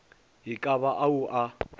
e ka ba ao a